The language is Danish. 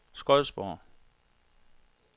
Skodsborg